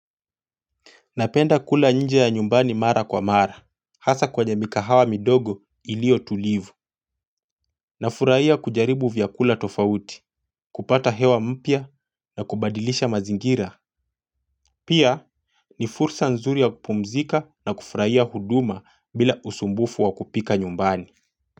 Napenda kula nje ya nyumbani mara kwa mara. Hasa kwenye mikahawa midogo iliyo tulivu na furahia kujaribu vyakula tofauti kupata hewa mpya na kubadilisha mazingira. Pia ni fursa nzuri ya kupumzika na kufurahia huduma bila usumbufu wa kupika nyumbani.